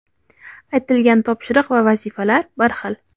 aytilgan topshiriq va vazifalar bir xil.